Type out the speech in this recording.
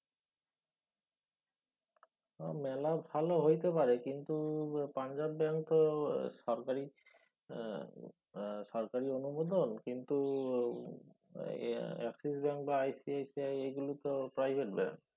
মেলা ভালো হইতে পারে কিন্তু পাঞ্জাব ব্যাঙ্ক তো সরকারি উম সরকারি অনুমোদন কিন্তু Axis ব্যাঙ্ক বা ICICI এগুলোতে private ব্যাঙ্ক।